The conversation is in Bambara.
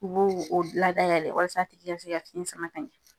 U b'o o ladayɛlɛ walasa a tigi ka se ka fiɲɛ sama ka ɲɛ.